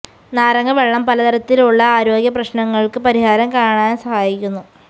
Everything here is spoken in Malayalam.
നാരങ്ങ വെള്ളം പല തരത്തിലുള്ള ആരോഗ്യ പ്രശ്നങ്ങള്ക്ക് പരിഹാരം കാണാന് സഹായിക്കുന്നു